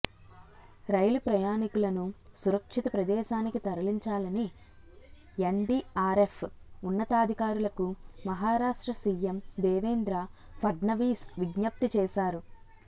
రైలు ప్రయాణికులను సురక్షిత ప్రదేశానికి తరలించాలని ఎన్డీఆర్ఎఫ్ ఉన్నతాధికారులకు మహారాష్ట్ర సీఎం దేవేంద్ర ఫడ్నవీస్ విజ్ఞప్తి చేశారు